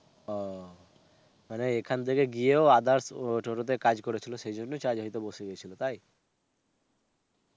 ও, মানে এখান থেকে গিয়েও others টোটোতে কাজ করেছিল সেই জন্যই charge হয়তো বসে গেছিল. তাই?